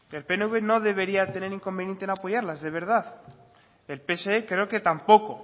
el pnv no debería tener inconveniente en apoyarlas de verdad el pse creo que tampoco